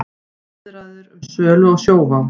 Viðræður um sölu á Sjóvá